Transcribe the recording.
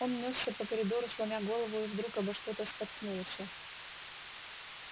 он нёсся по коридору сломя голову и вдруг обо что-то споткнулся